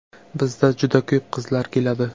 Bizga juda ko‘p qizlar keladi.